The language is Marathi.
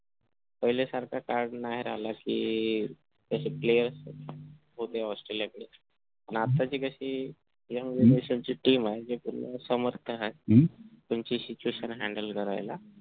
पहिले सारखा काळ नाही राहिला कि कशे players ऑस्ट्रेलिया कडे पण आताची कशी ह्या generation ची team आहे जी पूर्ण समर्थ आहे त्यांची situation handle करायला